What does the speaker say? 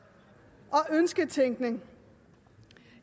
ønsketænkning